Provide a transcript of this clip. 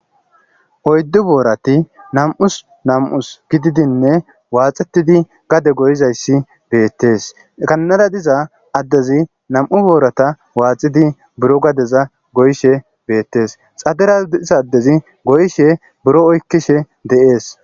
oyddu boorati nam7us nam7us gididinne waaxetidi gade goyizayssi beettees ganara diza addezi nam7u boorata waaxidi buro gadeza goyshe beettees xadera diza addezi goyshe buro oykkishe deees